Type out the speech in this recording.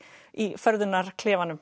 í